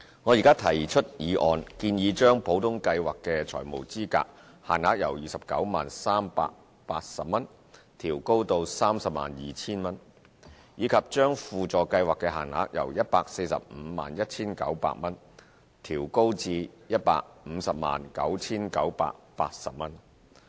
我現提出議案，建議將普通計劃的財務資格限額由 290,380 元調高至 302,000 元，以及將輔助計劃的限額由 1,451,900 元調高至 1,509,980 元。